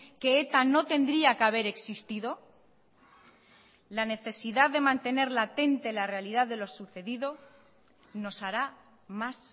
que eta no tendría que haber existido la necesidad de mantener latente la realidad de lo sucedido nos hará más